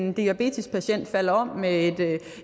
en diabetespatient falder om med et